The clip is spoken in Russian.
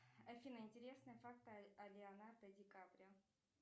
афина интересные факты о леонардо ди каприо